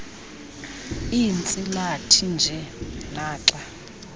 iintsilathi nje naxa